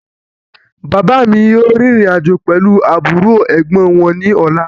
Bàbá mi yìí ó rìn ìrìn-àjò pẹ̀lu àbúrò/Ẹ̀gbọ́n wọn ní ọ̀la